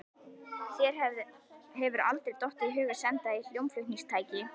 Þér hefur aldrei dottið í hug að senda því hljómflutningstæki?